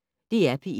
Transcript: DR P1